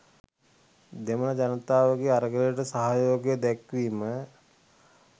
දෙමල ජනතාවගේ අරගලයට සහයෝගය දැක්වීම.